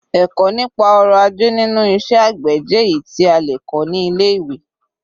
Ẹ̀kọ́ nípa ọrọ̀ ajé nínú iṣẹ́ àgbè jẹ́ èyí tí a lè kọ́ ní ilé-ìwé.